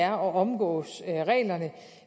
at omgå reglerne